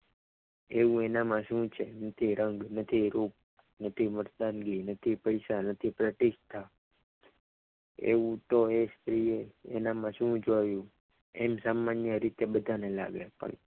તેવું એનામાં શું છે કે રંગ નથી રૂપ નથી મળતા નથી મતદાનગી નથી પૈસા નથી પ્રતિષ્ઠ એવું તો એ સ્ત્રીએ એનામાં શું જોયું એમ સામાન્ય રીતે બધાને